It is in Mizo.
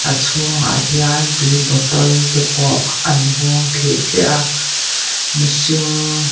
a chhung ah hian tui bottle te pawh an hung thlih thliah a mihring--